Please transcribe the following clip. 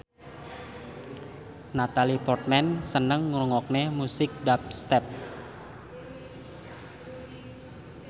Natalie Portman seneng ngrungokne musik dubstep